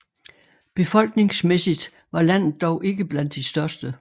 Befolkningsmæssigt var landet dog ikke blandt de største